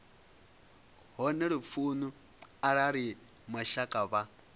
hone lufuni arali mashaka vha